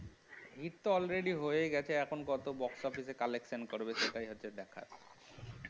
hit তো already হয়ে গেছে এখন কত box office এ collection করবে সেটাই হচ্ছে দেখার